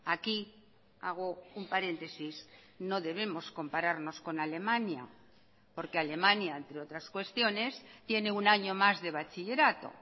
aquí hago un paréntesis no debemos compararnos con alemania porque alemania entre otras cuestiones tiene un año más de bachillerato